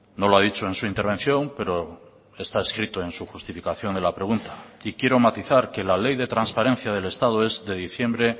no lo ha dicho en su intervención pero está escrito en su justificación de la pregunta y quiero matizar que la ley de transparencia del estado es de diciembre